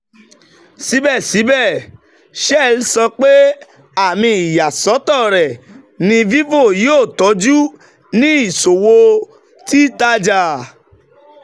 sibẹsibẹ shell sọ pe ami iyasọtọ rẹ ni vivo yoo tọju ni iṣowo titaja.